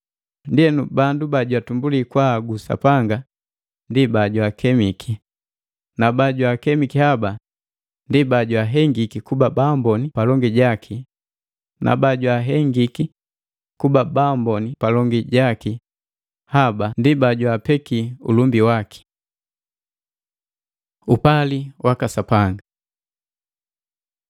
Ndienu bandu bajatumbuli kwaagu Sapanga ndi bajwaakemiki, na bajwaakemiki haba ndi bajwaahengiki kuba baamboni palongi jaki na bajwaahengiki kuba baamboni palongi jaki haba ndi bajwaapeki ulumbi waki. Upali waka Sapanga